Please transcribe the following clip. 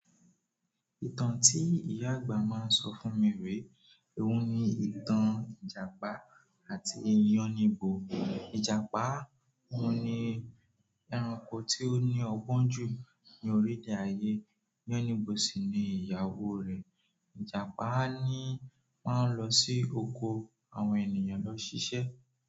Ìtàn tí ìyá àgbà má ń sọ fún mi re, oun ni ìtàn. Ìjàpá àti Yánníbo. Ìjàpá oun ní ẹranko tí ó ní ọgbọ́n jù ní orílẹ̀-èdè ayé. Yánníbo sì ni ìyàwó rẹ̀. Ìjàpá á ni máa ń lọ sí oko àwọn ènìyàn lọ ṣiṣẹ́.